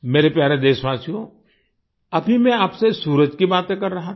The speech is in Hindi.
मेरे प्यारे देशवासियो अभी मैं आपसे सूरज की बातें कर रहा था